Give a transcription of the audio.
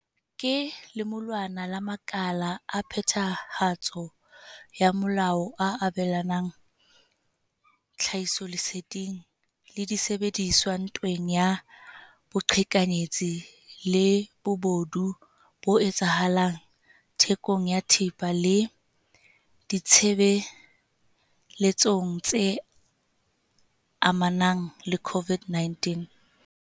Ke lemulwana la makala a phethahatso ya molao a abelanang tlhahisoleseding le disebediswa ntweng ya boqhekanyetsi le bobodu bo etsahalang thekong ya thepa le ditshebeletsong tse amanang le COVID-19.